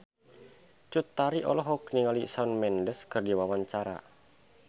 Cut Tari olohok ningali Shawn Mendes keur diwawancara